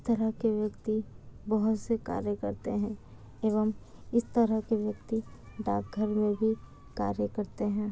इस तरह के व्यक्ति बहुत से कार्य करते है एवं इस तरह के व्यक्ति डाकघर मे भी कार्य करते है।